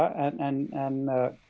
en